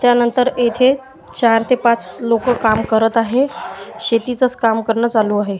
त्यानंतर इथे चार ते पाच लोकं काम करत आहे शेतीचंचं काम करणं चालू आहे.